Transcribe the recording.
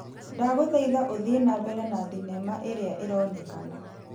Ndagũthaitha ũthiĩ na mbere na thinema ĩrĩa ĩronekana .